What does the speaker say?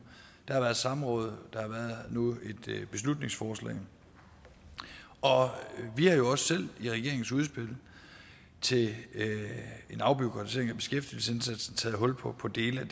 der har været samråd og nu et beslutningsforslag og vi har jo også selv i regeringens udspil til en afbureaukratisering af beskæftigelsesindsatsen taget hul på på dele af